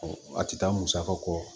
A tɛ taa musaka kɔ